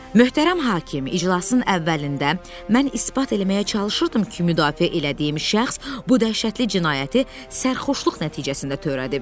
Möhtərəm hakim, iclasın əvvəlində mən isbat eləməyə çalışırdım ki, müdafiə elədiyim şəxs bu dəhşətli cinayəti sərxoşluq nəticəsində törədib.